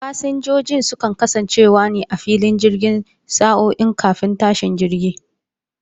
Fasinjojin sukan kasance ne a filin jirgi sa'o'i kafin tashin jirgi